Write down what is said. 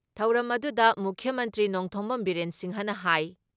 ꯊꯧꯔꯝ ꯑꯗꯨꯗ ꯃꯨꯈ꯭ꯌ ꯃꯟꯇ꯭ꯔꯤ ꯅꯣꯡꯊꯣꯝꯕꯝ ꯕꯤꯔꯦꯟ ꯁꯤꯡꯍꯅ ꯍꯥꯏ